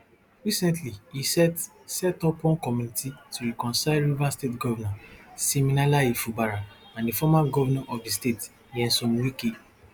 recently e set set up one committee to reconcile rivers state govnor siminalayi fubara and di former govnor of di state nyesom wike